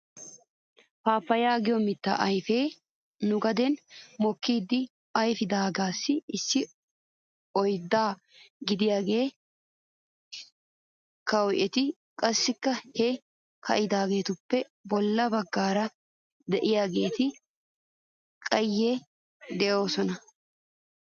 Paappayaa giyoo mittaa ayfee nu gaden mokkidi ayfidaagaassi issi oyddaa gidiyaagee ka'iwttis. Qassikka he ka'idaageetuppe bolla bagaara de'iyaageeti qayye doosona.